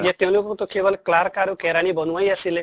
তেওঁলোককতো কেৱল clerk আৰু কেৰাণী বনোৱাই আছিলে